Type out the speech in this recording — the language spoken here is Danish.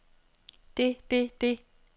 det det det